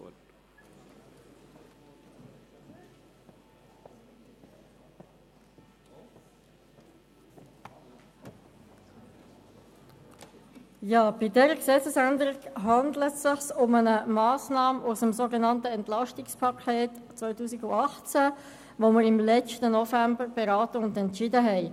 Bei dieser Gesetzesänderung handelt es sich um eine Massnahme zum sogenannten Entlastungspaket 2018 (EP 18), das wir im letzten November beraten und beschlossen hatten.